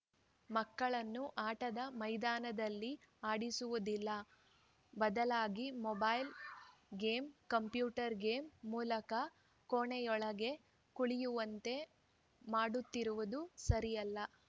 ಮಕ್ಕಳನ್ನು ಆಟದ ಮೈದಾನದಲ್ಲಿ ಆಡಿಸುವುದಿಲ್ಲ ಬದಲಾಗಿ ಮೊಬೈಲ್‌ ಗೇಮ್‌ ಕಂಪ್ಯೂಟರ್‌ ಗೇಮ್‌ ಮೂಲಕ ಕೋಣೆಯೊಳಗೆ ಕೂಳಿಯುವಂತೆ ಮಾಡುತ್ತಿರುವುದು ಸರಿಯಲ್ಲ